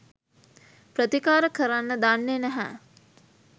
ප්‍රතිකාර කරන්න දන්නේ නැහැ